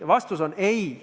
Ja vastus on ei.